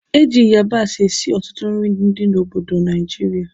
Eji yabasị esi ọtụtụ nri ndị obodo Naijiria